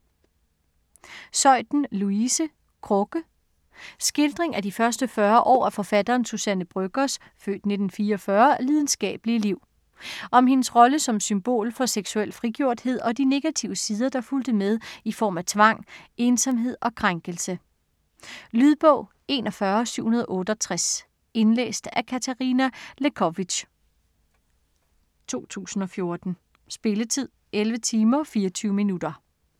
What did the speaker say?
Zeuthen, Louise: Krukke Skildring af de første 40 år af forfatteren Suzanne Brøggers (f. 1944) lidenskabelige liv. Om hendes rolle som symbol for seksuel frigjorthed, og de negative sider der fulgte med i form af tvang, ensomhed og krænkelse. Lydbog 41768 Indlæst af Katarina Lewkovitch, 2014. Spilletid: 11 timer, 24 minutter.